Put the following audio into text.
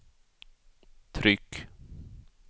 tryck